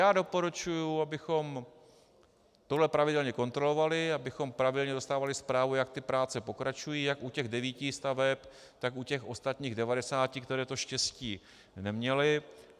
Já doporučuji, abychom tohle pravidelně kontrolovali, abychom pravidelně dostávali zprávu, jak ty práce pokračují, jak u těch devíti staveb, tak u těch ostatních devadesáti, které to štěstí neměly.